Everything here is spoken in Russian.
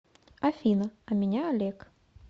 афина а меня олег